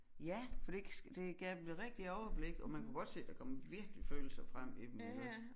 Ja for det det gav dem jo rigtig overblik og man kunne godt se der kom virkelig følelser frem i dem iggås